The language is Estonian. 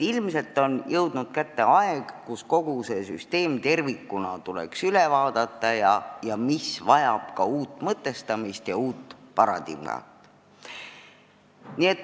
Ilmselt on kätte jõudnud aeg, kui kogu süsteem tervikuna tuleks üle vaadata, see vajab ka uut mõtestamist ja paradigmat.